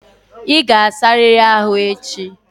Ị ga-asarịrị ahu echi!